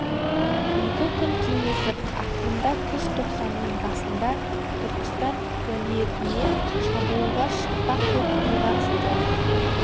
екі күн кеңесіп ақырында күзтоқсанның басында түркістан уәлиетіне шабуылға шықпақ боп ұйғарысты